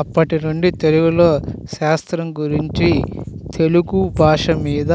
అప్పటి నుండి తెలుగులో శాస్త్రం గురించి తెలుగు భాష మీద